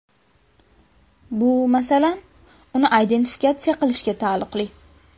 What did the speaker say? Bu, masalan, uni identifikatsiya qilishga taalluqli.